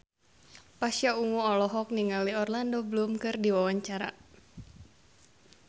Pasha Ungu olohok ningali Orlando Bloom keur diwawancara